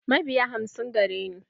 Mabiya hamsin gare ni.